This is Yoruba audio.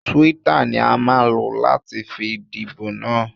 Twitter ni a máa lò láti fi díbò na.